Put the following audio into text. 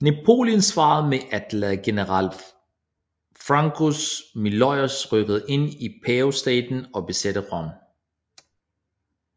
Napoleon svarede med at lade general François Miollis rykke ind i Pavestaten og besætte Rom